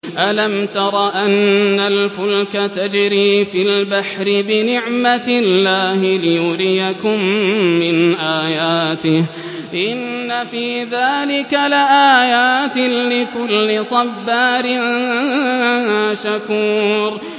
أَلَمْ تَرَ أَنَّ الْفُلْكَ تَجْرِي فِي الْبَحْرِ بِنِعْمَتِ اللَّهِ لِيُرِيَكُم مِّنْ آيَاتِهِ ۚ إِنَّ فِي ذَٰلِكَ لَآيَاتٍ لِّكُلِّ صَبَّارٍ شَكُورٍ